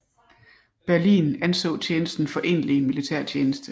Berlin anså tjenesten for egentlig militærtjeneste